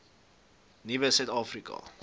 nuwe suid afrika